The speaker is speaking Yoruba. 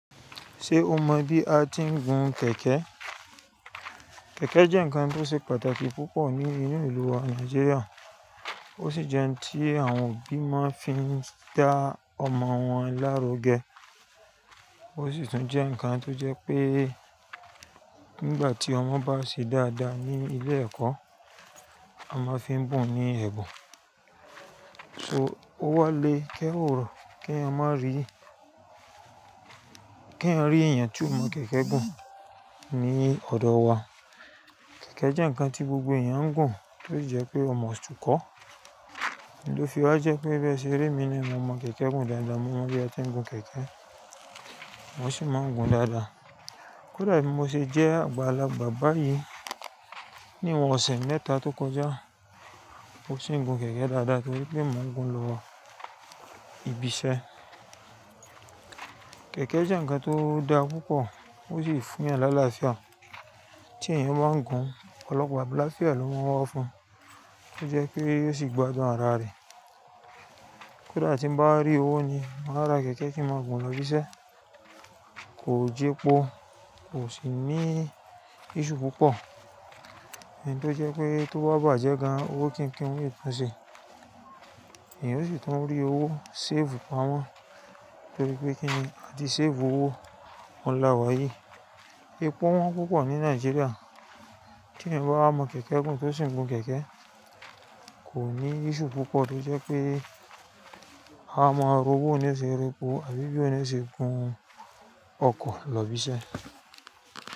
Ṣé o mọ bí a ti ń gun kẹ̀kẹ́? Kẹ̀kẹ́ jẹ́ ǹkan tó ṣe pàtàkì púpọ̀ ní inú ìlú wa Nàìjíríà, ó sì jẹ́ ohun tí àwọn òbí máa ń fi dá ọmọ wọn lárugẹ, ó sì tún jẹ́ ǹkan tó jẹ́ pé nígbà tí ọmọ bá ṣe dáadáa ní ilé ẹ̀kọ́, a máa fi ń bùn ní ẹ̀bùn. Ó wálé kẹ́hoòrò kí a má rí, kí a rí èèyàn tó mọ kẹ̀kẹ́ gùn ní ọ̀dọ̀ wa. Kẹ̀kẹ́ jẹ́ ǹkan tí gbogbo èèyàn ń gùn tó sì jẹ́ pé o máa túkọ́. Nì tó fi ọ́ jẹ́ pé bí ẹ ṣe rí mi ni mo mọ kẹ̀kẹ́ gùn dáadáa, mo mọ bí a ti ń gun kẹ̀kẹ́, mo sì máa ń gun dáadáa. Kódà èmi mo ṣe jẹ́ àgbàlagbà báyìí, ní ìwọ̀n ọ̀sẹ̀ mẹ́ta tó kọjá, mo sì ń gun kẹ̀kẹ́ dáadáa torí pé mò ń gun lọ ibi iṣẹ́. Kẹ̀kẹ́ jẹ́ ǹkan tó dáa púpọ̀, ó sì fún ẹ́yan lálafịa. Tí ẹ̀yan bá ń gun, ọ̀pọ̀lọpọ̀ àgbàlá fún ẹ ló máa wá fún un, ó jẹ́ pé ó sì gbádùn ara rẹ̀. Kódà tí mo bá rí owó ni, màá ra kẹ̀kẹ́ kí n máa gùn lọ ibi iṣẹ́, kò jẹ́ po, kò sì ní iṣu púpọ̀. Òún tó jẹ́ pé tó bá bàjẹ́ gan-an owó kí n kí n lè tún ṣe. Èèyàn sì tún ń rí owó, save fún wọn torí pé kí n, a ti save owó, wọn lá wá yìí. Epo wọ́n púpọ̀ ní Nàìjíríà, tí ẹ̀yin bá mọ kẹ̀kẹ́ gùn tó sì ń gun kẹ̀kẹ́, kò ní iṣu púpọ̀ torí jẹ́ pé a máa rú owó oníṣẹ́ eré po, àbí bí oníṣẹ́ gun ọkọ̀ lọ ibi iṣẹ́